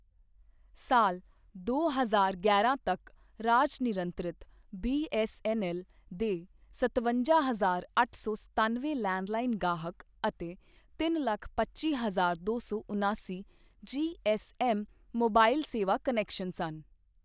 ਸਾਲ ਦੋ ਹਜ਼ਾਰ ਗਿਆਰਾਂ ਤੱਕ ਰਾਜ ਨਿਰੰਤਰਿਤ ਬੀ.ਐੱਸ.ਐੱਨ.ਐੱਲ. ਦੇ ਸਤਵੰਜਾ ਹਜਾਰ ਅੱਠ ਸੌ ਸਤੱਨਵੇ ਲੈਂਡਲਾਈਨ ਗਾਹਕ ਅਤੇ ਤਿੰਨ ਲੱਖ ਪੱਚੀ ਹਜਾਰ ਦੋ ਸੌ ਉਨਾਸੀ ਜੀ.ਐੱਸ.ਐੱਮ. ਮੋਬਾਈਲ ਸੇਵਾ ਕੁਨੈਕਸ਼ਨ ਸਨ।